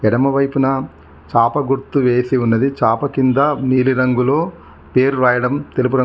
ఎడమవైపున చాప గుర్తు వేసి ఉన్నది చాప కింద నీలిరంగులో పేరు రాయడం తెలుపు రం.